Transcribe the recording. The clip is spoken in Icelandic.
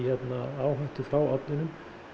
áhættu frá ofninum